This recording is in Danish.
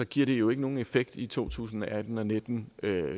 giver det jo ikke nogen effekt i to tusind og atten og nitten